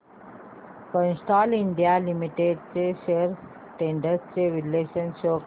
Castrol India limited shares trends चे विश्लेषण show कर